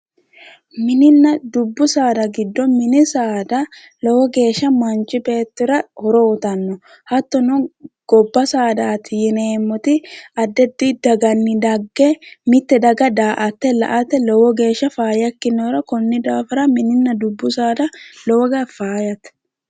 Mininna dubbu saada giddo mini saada lowo geeshsha manchi beettira horo uuyiitanno gobba saadaati yineemmoti addi addi daganni dagge mitte daga daa"atte la'ate lowo geeshsha faayya ikkinohura konni daafira mininna dubbu saada lowo geyaa faayyate.